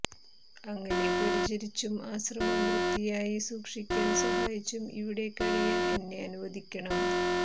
അങ്ങയെ പരിചരിച്ചും ആശ്രമം വൃത്തിയായി സൂക്ഷിക്കാൻ സഹായിച്ചും ഇവിടെ കഴിയാൻ എന്നെ അനുവദിക്കണം